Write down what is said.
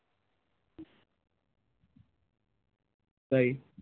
তাই?